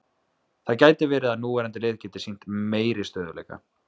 Það gæti verið að núverandi lið geti sýnt meiri stöðugleika.